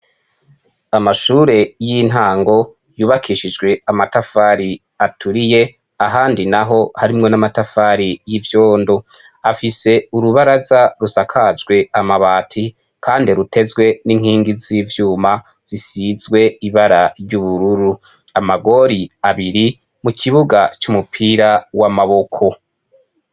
Amashure y'intango yubakishijwe amatafari aturiye, ahandi naho harimwo n'amatafari y'ivyondo, afise urubaraza rusakajwe amabati kandi rutezwe n'inkingi z'ivyuma zisizwe ibara ry'ubururu, amagori abiri mu kibuga c'umupira w'amaboko.